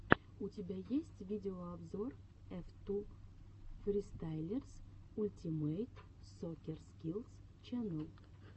у тебя есть видеообзор эф ту фристайлерс ультимэйт соккер скиллс ченнэл